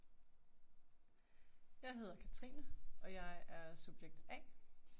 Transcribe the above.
Jeg hedder Katrine, og jeg er subjekt A